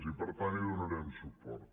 i per tant hi donarem suport